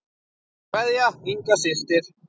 Kveðja, Inga systir.